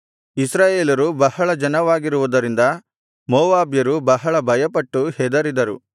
ಇಸ್ರಾಯೇಲರು ಬಹಳ ಜನವಾಗಿರುವುದರಿಂದ ಮೋವಾಬ್ಯರು ಬಹಳ ಭಯಪಟ್ಟು ಹೆದರಿದರು